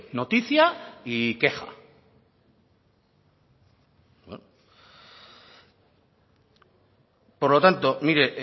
noticia y queja por lo tanto mire